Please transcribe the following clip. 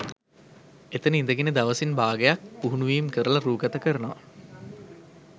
එතන ඉඳගෙන දවසින් භාගයක් පුහුණුවීම් කරල රූගත කරනවා